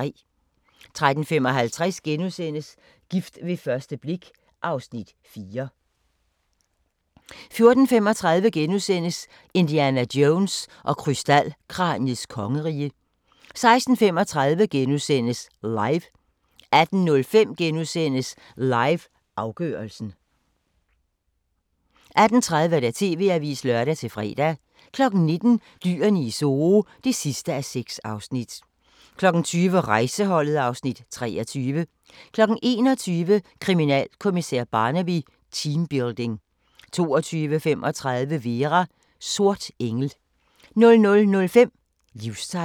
13:55: Gift ved første blik V (Afs. 4)* 14:35: Indiana Jones og krystalkraniets kongerige * 16:35: LIVE * 18:05: LIVE – afgørelsen * 18:30: TV-avisen (lør-fre) 19:00: Dyrene i Zoo (6:6) 20:00: Rejseholdet (Afs. 23) 21:00: Kriminalkommissær Barnaby: Teambuilding 22:35: Vera: Sort engel 00:05: Livstegn